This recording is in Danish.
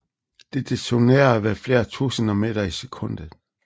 Det detonerer ved flere tusinde meter i sekundet